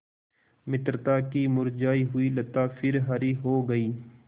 मित्रता की मुरझायी हुई लता फिर हरी हो गयी